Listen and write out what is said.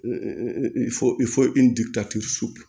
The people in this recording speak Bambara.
Fo i fo i ni ka su